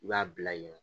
I b'a bila yen nɔ